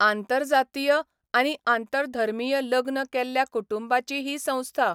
आंतरजातीय आनी आंतरधर्मीय लग्न केल्ल्या कुटुंबांची ही संस्था.